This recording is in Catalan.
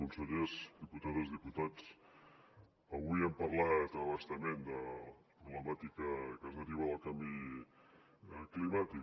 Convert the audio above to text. consellers diputades diputats avui hem parlat a bastament de la problemàtica que deriva del canvi climàtic